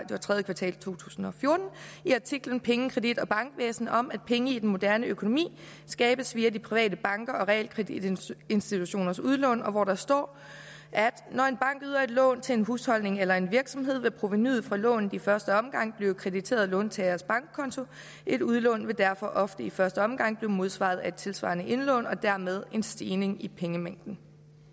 tredje kvartal i to tusind og fjorten i artiklen penge kredit og bankvæsen om at penge i den moderne økonomi skabes via de private bankers og realkreditinstitutioners udlån og hvor der står at når en bank yder et lån til en husholdning eller en virksomhed vil provenuet fra lånet i første omgang blive krediteret låntagerens bankkonto et udlån vil derfor ofte i første omgang blive modsvaret af et tilsvarende indlån og dermed af en stigning i pengemængden